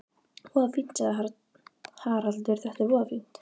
Voða fínt, sagði Haraldur, þetta er voða fínt.